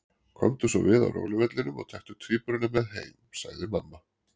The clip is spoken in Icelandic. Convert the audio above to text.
Komdu svo við á róluvellinum og taktu tvíburana með heim, sagði mamma.